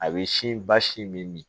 A bɛ sin ba sin min